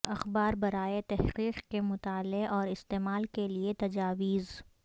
اخبار برائے تحقیق کے مطالعہ اور استعمال کے لئے تجاویز